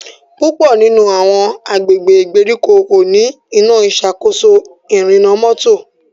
púpọ nínú àwọn agbègbè ìgbèríko ko ní Iná ìṣàkóso ìrìnnà mọ́tò.